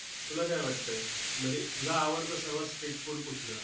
तुला काय वाटतंय? म्हणजे तुझं आवडतं सर्वात street food कुठलं?